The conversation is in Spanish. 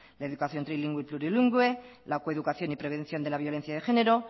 la educación trilingüe y plurilingüe la coeducación y prevención de la violencia de género